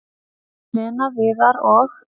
"""Lena, Viðar og-"""